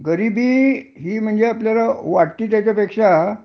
गरिबी हि म्हणजे आपल्याला वाटती त्याच्या पेक्षा